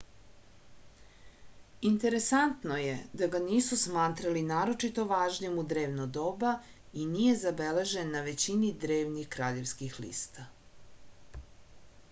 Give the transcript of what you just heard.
interesantno je da ga nisu smatrali naročito važnim u drevno doba i nije zabeležen na većini drevnih kraljevskih lista